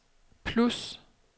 plus